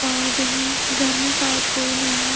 और हँ घर में शायद कोई नहीं है।